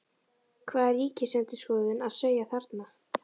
Hvað er Ríkisendurskoðun að segja þarna?